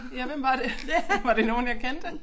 Ja hvem var det var det nogen jeg kendte